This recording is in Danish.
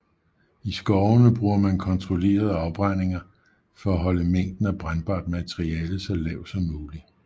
I skovene bruger man kontrollerede afbrændinger for at holde mængden af brændbart materiale så lav som mulig